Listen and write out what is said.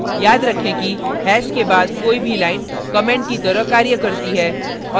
याद रखें कि hash के बाद कोई भी line comment की तरह कार्य करती है